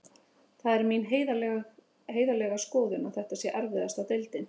Það er mín heiðarlega skoðun að þetta sé erfiðasta deildin.